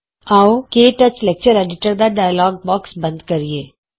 ਆਉ ਕੇ touch lecture editor ਦਾ ਡਾਇਲੋਗ ਬੌਕਸ ਬੰਦ ਕਰੀਏ